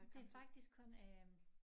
Det faktisk kun øh